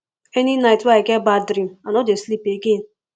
any night wey i get bad dream i no dey sleep again